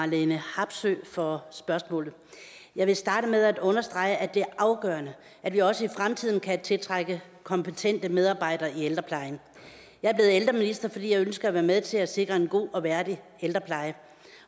marlene harpsøe for spørgsmålet jeg vil starte med at understrege at det er afgørende at vi også i fremtiden kan tiltrække kompetente medarbejdere i ældreplejen jeg blev ældreminister fordi jeg ønsker at være med til sikre en god og værdig ældrepleje